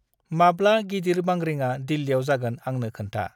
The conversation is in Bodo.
माब्ला गिदिर बांग्रिंआ दिल्लियाव जागोन आंनो खोन्था।